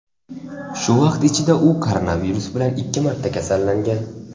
Shu vaqt ichida u koronavirus bilan ikki marta kasallangan.